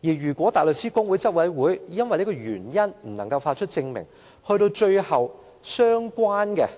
如果大律師公會執委會拒絕發出證明書，有關的